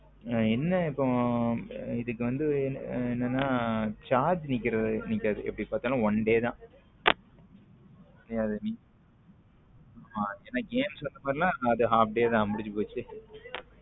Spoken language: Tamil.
என்ன இப்போ இதுக்கு வந்து என்னன்னா charge நிக்காது எப்படி பார்த்தாலும் one day தான் ஏன்ன game மாதிரி அப்படியே தான் முடிஞ்சு போச்சு.